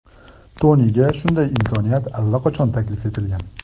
Toniga shunday imkoniyat allaqachon taklif etilgan.